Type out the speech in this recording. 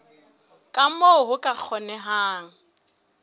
ka moo ho ka kgonehang